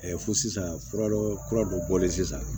fo sisan fura dɔ kura dɔ bɔlen sisan